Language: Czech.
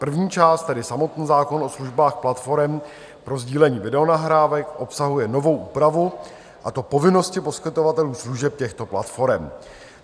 První část, tedy samotný zákon o službách platforem pro sdílení videonahrávek, obsahuje novou úpravu, a to povinnosti poskytovatelů služeb těchto platforem.